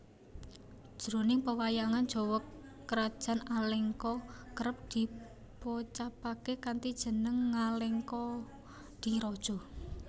Jroning pewayangan Jawa krajan Alengka kerep dipocapaké kanthi jeneng Ngalengkadiraja